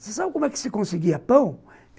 Você sabe como é que se conseguia pão?